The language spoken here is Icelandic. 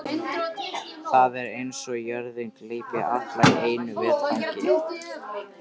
Það er eins og jörðin gleypi alla í einu vetfangi.